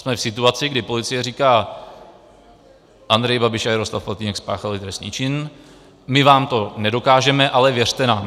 Jsme v situaci, kdy policie říká: Andrej Babiš a Jaroslav Faltýnek spáchali trestný čin, my vám to nedokážeme, ale věřte nám.